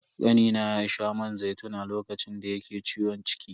Kanina ya sha man zaitun a lokacin da yake ciwon ciki.